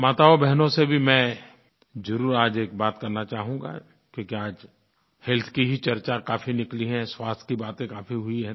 माताओं और बहनों से भी मैं ज़रूर आज एक बात करना चाहूँगा क्योंकि आज हेल्थ की ही चर्चा काफ़ी निकली है स्वास्थ्य की बातें काफ़ी हुई हैं